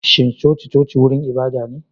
Shin coci-coci wurin ibada ne?